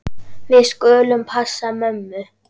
Við skulum passa mömmu.